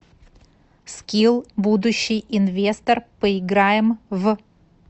скилл будущий инвестор поиграем в